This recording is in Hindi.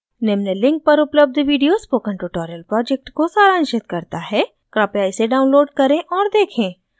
निम्न link पर उपलब्ध video spoken tutorial project को सारांशित करता है कृपया इसे download करें और देखें